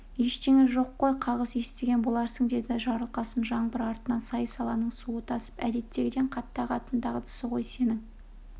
ештеңе жоқ қой қағыс естіген боларсың деді жарылқасын жаңбыр артынан сай-саланың суы тасып әдеттегіден қатты ағатын дағдысы ғой сенің